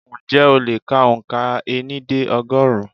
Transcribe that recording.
Ǹjẹ́ o lè kà òǹkà ení dé ọgọ́rùn-ún?